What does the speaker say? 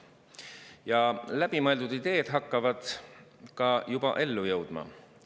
Ja läbimõeldud ideed hakkavad ka juba ellu jõudma.